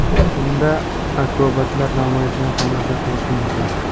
Unda akrobatlar namoyishini tomosha qilish mumkin.